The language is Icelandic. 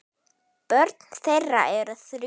Börn þeirra eru þrjú.